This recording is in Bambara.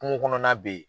Kungo kɔnɔna be yen